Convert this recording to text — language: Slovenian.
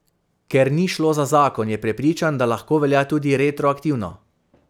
Ker ni šlo za zakon, je prepričan, da lahko velja tudi retroaktivno.